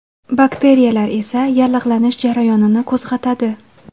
Bakteriyalar esa yallig‘lanish jarayonini qo‘zg‘atadi.